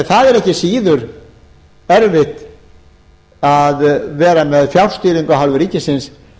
það er ekki síður erfitt að vera með fjárstýringu af hálfu ríkisins